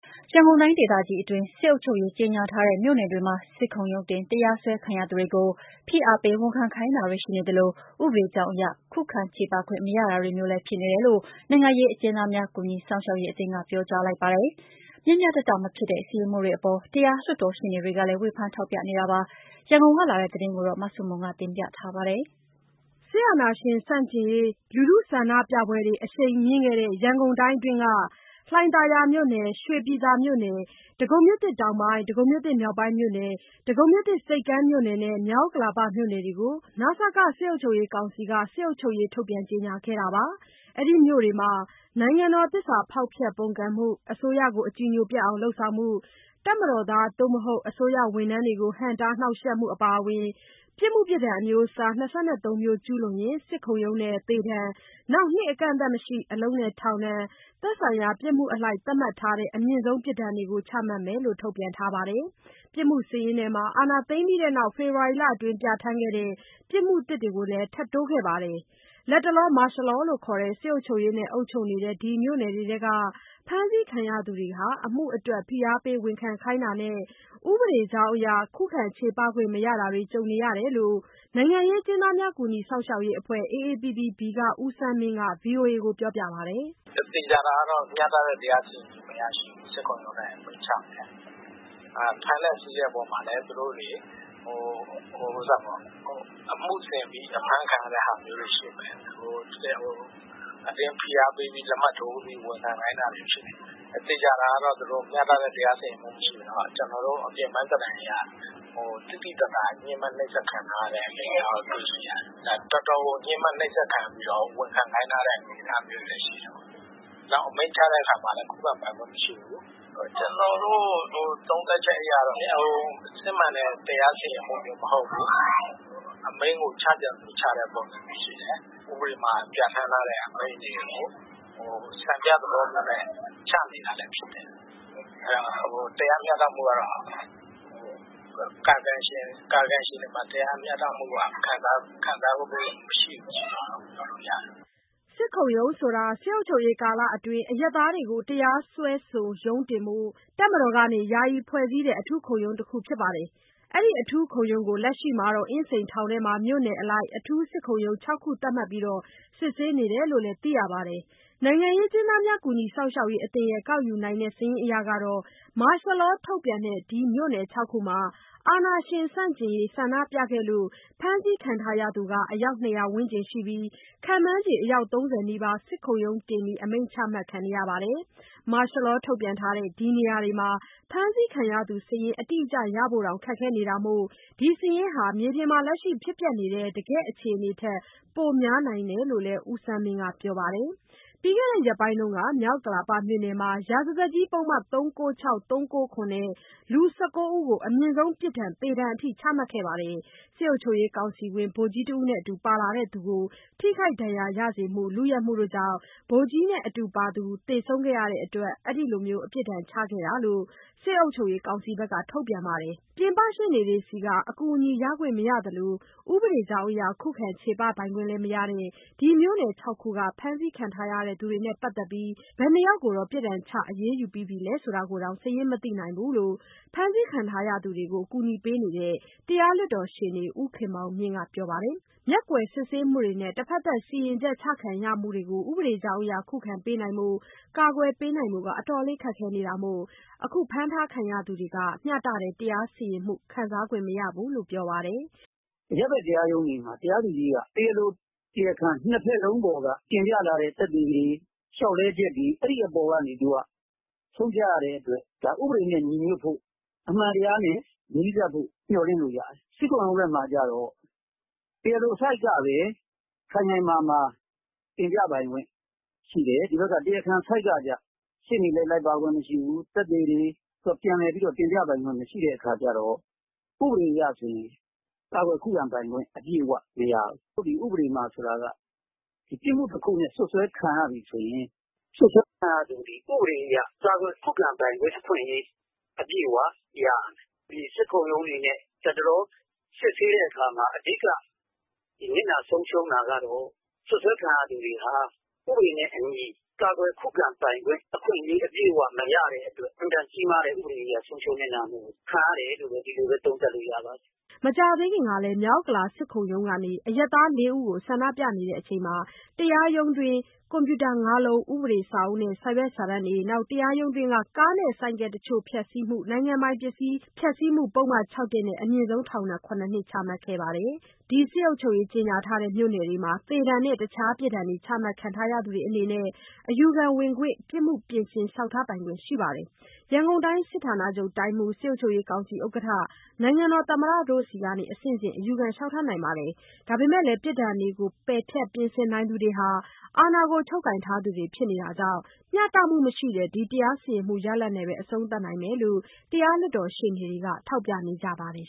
ရန်ကုန်တိုင်းဒေသကြီးအတွင်း စစ်အုပ်ချုပ်ရေး ကြေငြာထားတဲ့မြို့နယ်တွေမှာ စစ်ခုံရုံးတင် တရားစွဲခံရသူတွေကို ဖိအားပေး ဝန်ခံခိုင်းတာတွေ ရှိနေသလို ဥပဒေကြောင်းအရ ခုခံချေပခွင့်မရတာတွေမျိုးတွေ ဖြစ်နေတယ်လို့ နိုင်ငံရေးအကျဉ်းသားများ ကူညီစောင့်ရှောက်ရေးအသင်းက ပြောကြားလိုက်ပါတယ်။ မ ျှမ ျှတတ မဖြစ်တဲ့ စီရင်မှုတွေ အပေါ် တရားလွှတ်တော် ရှေ့နေတွေကလည်း ဝေဖန်ထောက်ပြနေကြပါတယ်။ ရန်ကုန်ကလာတဲ့သတင်းကို မဆုမွန်က တင်ပြပေးမှာပါ။ ဆန္ဒပြပွဲတွေ အရှိန်မြင့်ခဲ့တဲ့ ရန်ကုန်တိုင်းအတွင်းက လှိုင်သာယာမြို့နယ်၊ ရွှေပြည်သာ မြို့နယ်၊ ဒဂုံ မြို့သစ် (တောင်ပိုင်းမြို့နယ်)၊ ဒဂုံမြို့သစ် (မြောက်ပိုင်းမြို့နယ်)၊ ဒဂုံမြို့သစ် (ဆိပ်ကမ်းမြို့နယ်)နဲ့ မြောက်ဥက္ကလာပ မြို့နယ်တို့ ကို န.စ.က စစ်ကောင်စီက စစ်အုပ်ချုပ်ရေး ထုတ်ပြန်ကြေညာခဲ့ပါတယ်။ ဒီမြို့နယ်တွေမှာ နိုင်ငံတော်သစ္စာဖောက်ဖျက် ပုန်ကန်မှု၊ အစိုးရကို အကြည်ညိုပျက်အောင် လုပ်မှု၊ တပ်မတော်သားများ ဒါမှမဟုတ် အစိုးရ အမှုထမ်းများကို ဟန့်တား နှောင့်ယှက်မှု အပါအဝင် ပြစ်မှုအမျိုးအစား ၂၃ မျိုး ကျူးလွန်ရင် စစ်ခုံရုံးနဲ့ သေဒဏ်၊ နှစ်အကန့်အသတ်မရှိ အလုပ်နဲ့ ထောင်ဒဏ်၊ သက်ဆိုင်ရာ ပြစ်မှုအလိုက် သတ်မှတ်ထားတဲ့ အမြင့်ဆုံး ပြစ်ဒဏ်တွေကို ချမှတ်မယ်လို့ ထုတ်ပြန်ထားပါတယ်။ ပြစ်မှုစာရင်းထဲမှာ အာဏာသိမ်းပြီး နောက် ဖေဖော်ဝါရီလအတွင်း ပြဋ္ဌာန်းခဲ့တဲ့ ပြစ်မှုသစ်တွေကိုလည်း ထပ်တိုးခဲ့ပါတယ်။ လတ်တလော မာရှယ်လောလို့ခေါ်တဲ့ စစ်အုပ်ချုပ်ရေး နဲ့ အုပ်ချုပ်နေတဲ့ ဒီမြို့နယ်တွေ အတွင်းက ဖမ်းဆီးခံရ သူတွေဟာ အမှုအတွက် ဖိအားပေး ဝန်ခံခိုင်းတာနဲ့ ဥပဒေကြောင်းအရ ခုခံချေပခွင့်မရတာတွေ ကြုံနေရတယ်လို့ နိုင်ငံရေးအကျဉ်းသားများ ကူညီစောင့်ရှောက်ရေးအဖွဲ့ ဦးဆန်းမင်းက ဗွီအိုအေကိုပြောပါတယ်။ "သေချာတာက မျှတတဲ့ တရားစီရင်မှု မရှိဘူး... စစ်ခုံရုံးနဲ့ အမိန့်ချတာ။ ဖမ်းဆီးတဲ့အခါမှာလည်း အမှုဆင်ဖမ်းခံရတာ ဖြစ်မယ်။ အတင်းဖိအားပေး လက်မှတ်ထိုးပြီး ဝင်ခံခိုင်းတာ ဖြစ်တယ်။ သေချာတာကတော့ မျှတတဲ့ တရားစီရင်မှုမရှိဘူး။ ကျနော်တို့ အပြင်ပန်းသဏ္ဍာန်အရ သိသိသာသာ ညဉ်းပန်း နှိပ်စက်ခံရတာတွေတွေ့ရတယ်။ တော်တော်ညှဉ်းပန်းနှိပ်စက်ခံပြီး ဝန်ခံခိုင်းထားတဲ့ အနေအထားမျိုးတွေ ရှိတယ်။ အမိန့်ချတာမှာလည်း ခုခံပိုင်ခွင့်မရှိဘူး။ ကျနော်တို့သုံးသပ်ချက်အရ စစ်မှန်တဲ့ တရားစီရင်မှုမဟုတ်ဘူး။ အမိန့်ကို ချချင်သလို ချနေတာရှိတယ်။ ဥပဒေမှာ ပြဌာန်းထားတဲ့ အမိန့်တွေကို စံပြသဘောမျိုးနဲ့ ချနေတာလည်းဖြစ်တယ်။ ကာယကံရှင်တွေ တရားမျှတမှုက ခံစားမှု မရှိဘူးဆိုတာပြောလို့ ရတယ်။" စစ်ခုံရုံးဆိုတာ စစ်အုပ်ချုပ်ရေးကာလအတွင်း အရပ်သားများကို တရားစွဲ ရုံးတင်ဖို့ တပ်မတော်က ယာယီဖွဲ့စည်းတဲ့ အထူးခုံရုံးတခုပါ။ ဒီ အထူးခုံရုံးကို လက်ရှိမှာ အင်းစိန်ထောင်တွင်းမှာ မြို့နယ်အလိုက် အထူးခုံရုံး ၆ ခု သတ်မှတ်ပြီး စစ်ဆေးနေတယ်လို့ သိရပါတယ်။ နိုင်ငံရေးအကျဉ်းသားများ ကူညီစောင့်ရှောက်ရေးအသင်း ကောက်ယူနိုင်တဲ့ စာရင်းအရ မာရှယ်လော ထုတ်ထားတဲ့ မြို့နယ် ၆ ခုမှာ အာဏာရှင်ဆန့်ကျင်ရေး ဆန္ဒပြခဲ့လို့ ဖမ်းဆီးခံထားရသူဟာ အယောက် ၂၀၀ ဝန်းကျင်ရှိနိုင်ပြီး ခန့်မှန်းခြေ အယောက် ၃၀ နီးပါး စစ်ခုံရုံးတင် အမိန့် ချမှတ်ခံခဲ့ရပါတယ်။ မာရှယ်လော ထုတ်ထားတဲ့ ဒီနေရာတွေမှာ ဖမ်းဆီးခံရသူ စာရင်းတိကျရဖို့တောင် ခက်ခဲနေတာမို့ ဒီစာရင်းဟာမြေပြင် အခြေအနေထက် ပိုများနိုင်တယ်လို့ ဦးဆန်းမင်းက ပြောပါတယ်။ ပြီးခဲ့တဲ့ရက်ပိုင်းက မြောက်ဥက္ကလာပမြို့နယ်မှာ ရာဇသတ်ကြီး ပုဒ်မ ၃၉၆၊ ၃၉၇ နဲ့ လူ ၁၉ ဦးကို အမြင့်ဆုံးပြစ်ဒဏ် သေဒဏ်ချမှတ်ခဲ့ပါတယ်။ စစ်အုပ်ချုပ်ရေးကောင်စီဝင် ဗိုလ်ကြီးတဦးနဲ့ အတူပါသူတဦးကို ထိခိုက်ဒဏ်ရာရစေမှု၊ လုယက်မှုကြောင့် ဗိုလ်ကြီးနဲ့ အတူပါသူ သေဆုံးခဲ့ရတဲ့အတွက် အခုလိုပြစ်ဒဏ်ချခဲ့တာလို့ စစ်အုပ်ချုပ်ရေးကောင်စီက ထုတ်ပြန်ထားပါတယ်။ ပြင်ပရှေ့နေတွေဆီက အကူအညီ ရယူခွင့်မရသလို ခုခံချေပပိုင်ခွင့်လည်း မရတဲ့ ဒီမြို့နယ် ၆ ခုက ဖမ်းခံထားရသူတွေနဲ့ ပတ်သတ်လို့ ဘယ်နှစ်ယောက်ကို ဘယ်လိုပုဒ်မတွေနဲ့ အရေးယူမလဲ ယူထားသလဲဆိုတာ မသိရသလို ဘယ်နှယောက်ကို ပြစ်ဒဏ်ချ အရေးယူပြီး ပြီလဲဆိုတာတောင် စာရင်းမသိနိုင်ဘူးလို့ ဖမ်းဆီးခံရသူတွေကို ကူညီပေးနေတဲ့ တရားလွှတ်တော်ရှေ့နေ ဦးခင်မောင်မြင့်ကပြောပါတယ်။ မျက်ကွယ်စစ်ဆေးမှုတွေနဲ့ တဘက်သတ် စီရင်ချက်ချခံရမှုတွေကို ခုခံပေးနိုင်ဖို့ ကာကွယ်ပေးနိုင်ဖို့ အတော်လေးခက်ခဲနေတာမို့ ဒီဖမ်းခံရသူ တွေမှာ မျှတတဲ့တရားစီရင်မှု ခံစားခွင့်မရဘူးလို့ ပြောပါတယ်။ "အရပ်ဘက် တရားရုံးတွေမှာ တရားသူကြီးက တရားလို၊ တရားခံ ၂ ဘက်လုံးပေါ်က တင်ပြလာတဲ့ သက်သေတွေ၊ လျှောက်လဲချက်တွေပေါ်က ဆုံးဖြတ်ရတဲ့အတွက် ဥပဒေနဲ့ညီညွှတ်ဖို့ အမှန်တရားနဲ့ နီးစပ်ဖို့ မျှော်လင့်လို့ရတယ်။ စစ်ခုံရုံးထဲမှာကျတော့ တရားလိုဘက်ကပဲ ခိုင်ခိုင်မာမာတင်ပြပိုင်ခွင့် ရှိတယ်။ တရားခံဘက်ကကျတော့ ရှေ့နေလိုက်ပါခွင့်မရှိဘူး။ သက်သေတင်ပြပိုင်ခွင့်လည်း မရှိတဲ့အခါကျတော့ ဥပဒေအရ ဆိုရင်ကာကွယ်ခုခံပိုင်ခွင့်မရဘူး။ ဥပဒေမှာက ပြစ်မှုတခုနဲ့ စွပ်စွဲခံရပြီဆိုရင် စွပ်စွဲခံရသူဟာ ဥပဒေအရ ကာကွယ်ခုခံပိုင်ခွင့်အခွင့်အရေး အပြည့်အဝ ရရမယ်။ စစ်ခုံရုံးအနေနဲ့ လတ်တလောစစ်တာမှာ အဓိကနစ်နာဆုံးရှုံးတာကတော့ စွပ်စွဲခံရသူတွေဟာ ဥပဒေနဲ့အညီ ကာကွယ်ခုခံပိုင်ခွင့် အပြည့်အဝမရတဲ့အတွက် အင်မတန်ကြီးမားတဲ့ ဥပဒေအရ ဆုံးရှုံးနစ်နာမှုကို ခံနေရတယ်လို့ ဒီလိုပဲ သုံးသပ်လို့ရပါတယ်။" မကြာသေးခင်ကလည်း မြောက်ဥက္ကလာ စစ်ခုံရုံးကနေ အရပ်သား ၄ ဦးကို ဆန္ဒပြစဉ် တရားရုံးတွင်း ကွန်ပျူတာ ၅လုံး၊ ဥပဒေစာအုပ်တွေ၊ စာရွက်စာတမ်းနဲ့ တရားရုံးတွင်း ကားနဲ့ ဆိုင်ကယ်တချို့ ဖျက်ဆီးမှု နိုင်ငံပိုင် ပစ္စည်း ဖျက်ဆီးမှုပုဒ်မ ၆(၁) နဲ့ အမြင့်ဆုံး ပြစ်ဒဏ် ၇နှစ်ချမှတ်ခဲ့ပါတယ်။ ဒီမြို့နယ်တွေမှာ သေဒဏ်နဲ့ တခြားပြစ်ဒဏ်တွေ ချမှတ်ခံရသူများအနေနဲ့ အယူခံဝင်ပိုင်ခွင့် ပြစ်မှုပြင်ဆင်လျှောက်ထားပိုင်ခွင့်တွေ ရှိပါတယ်။ ရန်ကုန်တိုင်း စစ်ဌာနချုပ် တိုင်းမှူး၊ စစ်အုပ်ချုပ်ရေးကောင်စီ ဥက္ကဋ္ဌ၊ နိုင်ငံတော် သမ္မတ တို့ဆီအဆင့်ဆင့် အယူခံလေ ျှာက်ထားနိုင်ပါတယ်။ ဒါပေမဲ့ ပြစ်ဒဏ်တွေကို ပယ်ဖျက်၊ ပြင်ဆင်နိုင်သူတွေဟာ အာဏာချုပ်ကိုင်ထားသူတွေဖြစ်နေတာကြောင့် မျှတမှုမရှိတဲ့ ဒီတရားစီရင်မှု ရလဒ်နဲ့ပဲ အဆုံးသတ်နိုင်တယ်လို့ တရားလွှတ်တော်ရှေ့နေတွေက ထောက်ပြနေကြပါတယ်